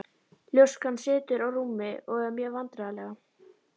Ljóskan situr á rúmi og er mjög vandræðaleg.